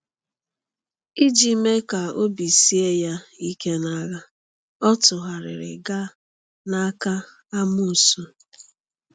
Iji mee ka obi sie ya ike n’agha, ọ tụgharịrị gaa n’aka amoosu.